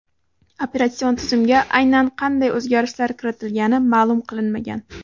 Operatsion tizimga aynan qanday o‘zgarishlar kiritilgani ma’lum qilinmagan.